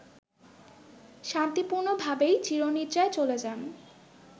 শান্তিপূর্ণভাবেই চিরনিদ্রায় চলে যান